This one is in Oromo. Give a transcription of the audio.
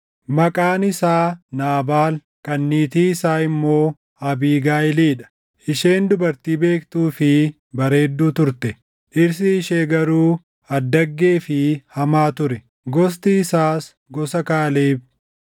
Maqaan isaa Naabaal, kan niitii isaa immoo Abiigayiilii dha. Isheen dubartii beektuu fi bareedduu turte; dhirsi ishee garuu addaggee fi hamaa ture; gosti isaas gosa Kaaleb.